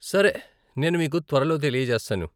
సరే, నేను మీకు త్వరలో తెలియజేస్తాను.